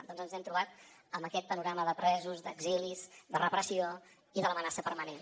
doncs ens hem trobat amb aquest panorama de presos d’exilis de repressió i de l’amenaça permanent